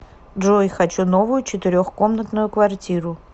джой хочу новую четырех комнатную квартиру